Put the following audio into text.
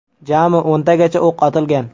Jami o‘ntagacha o‘q otilgan.